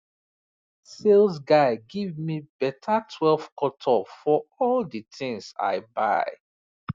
sales guy give me better twelve cut off for all the things i buy